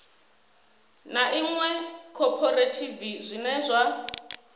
ḽa iṅwe khophorethivi zwine zwa